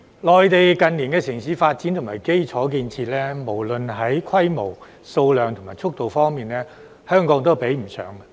內地近年的城市發展和基礎建設，無論在規模、數量和速度方面，香港都比不上。